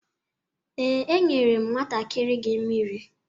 Ee, enyere m nwantakịrị gị mmiri.